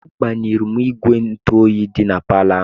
Agbanyụrụ m igwe ntụ oyi dị na palọ ahụ.